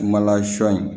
Mala sɔ in